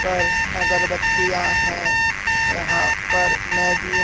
पर अगरबत्तियां है यहां पर मैगी --